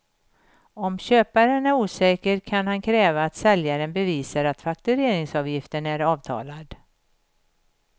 Om köparen är osäker kan han kräva att säljaren bevisar att faktureringsavgiften är avtalad.